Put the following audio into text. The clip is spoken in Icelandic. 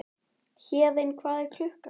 Héðinn, hvað er klukkan?